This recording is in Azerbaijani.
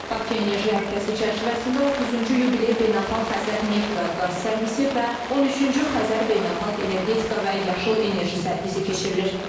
Bakı enerji həftəsi çərçivəsində 30-cu yubiley beynəlxalq Xəzər neft və qaz sərgisi və 13-cü Xəzər beynəlxalq energetika və yaşıl enerji sərgisi keçirilir.